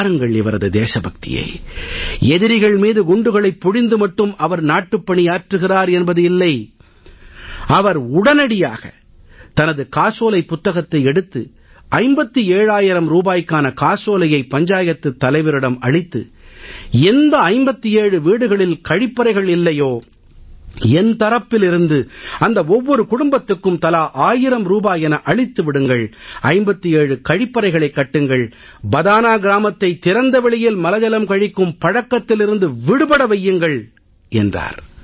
பாருங்கள் இவரது தேசபக்தியை எதிரிகள் மீது குண்டுகளைப் பொழிந்து மட்டும் அவர் நாட்டுப்பணியாற்றுகிறார் என்பது இல்லை அவர் உடனடியாக தனது காசோலைப் புத்தகத்தை எடுத்து 57000 ரூபாய்க்கான காசோலையை பஞ்சாயத்துத் தலைவரிடம் அளித்து எந்த 57 வீடுகளில் கழிப்பறைகள் இல்லையோ என் தரப்பிலிருந்து அந்த ஓவ்வொரு குடும்பத்துக்கும் தலா ஆயிரம் ரூபாய் என அளித்து விடுங்கள் 57 கழிப்பறைகளைக் கட்டுங்கள் பதானா கிராமத்தை திறந்தவெளியில் மலஜலம் கழிக்கும் பழக்கத்திலிருந்து விடுபட வையுங்கள் என்றார்